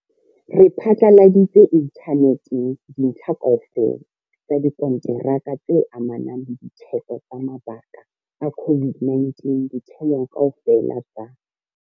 Re phatlaladitse inthaneteng dintlha kaofela tsa dikonteraka tse amanang le ditheko tsa mabaka a COVID-19 ditheong kaofela tsa.